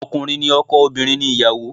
Ọkùnrin ni ọkọ, obìnrin ni ìyàwó